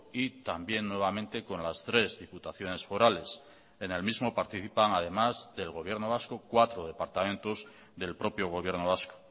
y también nuevamente con las tres diputaciones forales en el mismo participan además del gobierno vasco cuatro departamentos del propio gobierno vasco